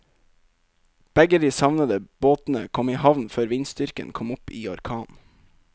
Begge de savnede båtene kom i havn før vindstyrken kom opp i orkan.